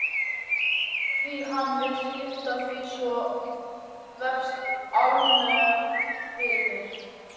Hví hann vill skipa því svo vefst allmjög fyrir mér.